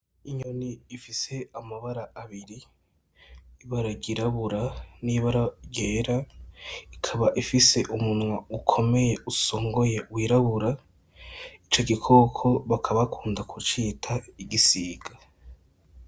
Inyoni ifise amabara abiri , ibara ry'irabura n'ibara ryera ikaba ifise umunwa ukomeye usongoye wirabura, ico gikoko bakaba bakunda kucita igisiga.